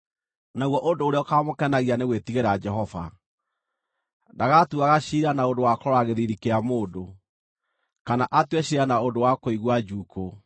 naguo ũndũ ũrĩa ũkaamũkenagia nĩ gwĩtigĩra Jehova. Ndagatuuaga ciira na ũndũ wa kũrora gĩthiithi kĩa mũndũ, kana atue ciira na ũndũ wa kũigua njuukũ;